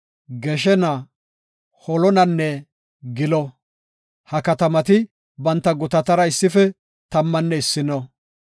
Goshena, Holonanne Gilo. Ha katamati banta gutatara issife tammanne issino.